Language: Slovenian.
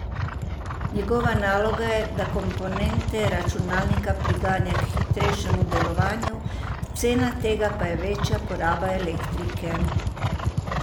Njegova naloga je, da komponente računalnika priganja k hitrejšemu delovanju, cena tega pa je večja poraba elektrike.